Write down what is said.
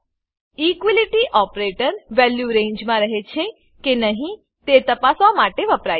equality operator value રેન્જમાં રહે છે કે નહિ તે તપાસવા માટે વપરાય છે